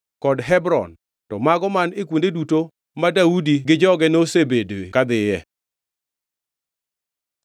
kod Hebron; to mago man e kuonde duto ma Daudi gi joge nosebedo kadhiye.